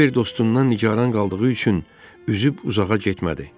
Kiber dostundan nigaran qaldığı üçün üzüb uzağa getmədi.